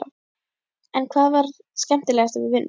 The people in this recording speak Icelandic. En hvað var það skemmtilegasta við vinnuna?